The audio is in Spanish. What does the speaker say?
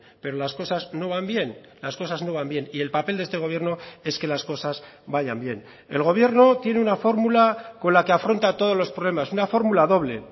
pero las cosas no van bien las cosas no van bien y el papel de este gobierno es que las cosas vayan bien el gobierno tiene una fórmula con la que afronta todos los problemas una fórmula doble